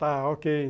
Tá, ok.